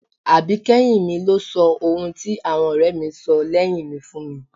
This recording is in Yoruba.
Àbíkẹ́yìn mi ló sọ ohun tí àwọn ọ̀rẹ́ mi sọ lẹ́yìn mi fún mi